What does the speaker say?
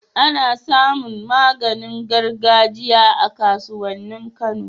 Ana samin maganin gargajiya a kasuwanin kano